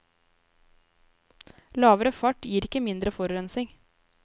Lavere fart gir ikke mindre forurensing.